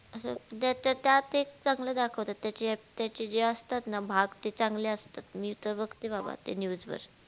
दे त्या त्यात एक चांगल धाकावतात त्याचे जे असतात न भाग ते चागले असतात मी तर भागते बाबा ते news वर